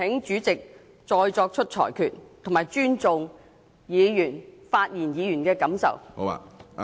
主席，請你再作出裁決，並尊重發言議員的感受。